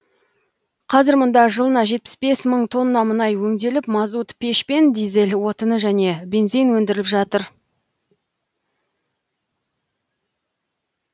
қазір мұнда жылына жетпіс мың тонна мұнай өңделіп мазут пеш пен дизель отыны және бензин өндіріліп жатыр